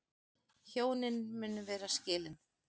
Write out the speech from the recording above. Hjónin munu vera skilin